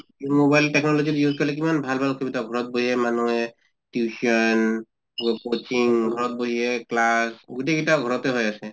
mobile technology use কৰিলে কিমান ভাল ভাল সুবিধা ঘৰত বহিয়ে মানুহে tuition coaching ঘৰত বহিয়ে class গোটেই গিটা ঘৰতে হৈ আছে